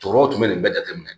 Tɔɔrɔw tun bɛ nin bɛɛ jate minɛ